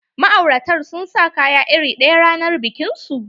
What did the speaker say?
Ma'auratan sun sa kaya iri ɗaya ranar bikin su.